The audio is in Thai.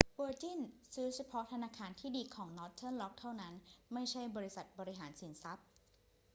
เวอร์จินซื้อเฉพาะ ธนาคารที่ดี' ของนอร์เทิร์นร็อกเท่านั้น ไม่ใช่บริษัทบริหารสินทรัพย์